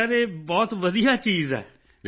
ਜੀ ਸਿਰ ਇਹ ਬਹੁਤ ਵਧੀਆ ਚੀਜ਼ ਹੈ